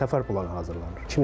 Yəni səfər planı hazırlanır.